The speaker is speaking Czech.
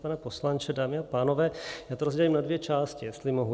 Pane poslanče, dámy a pánové, já to rozdělím na dvě části, jestli mohu.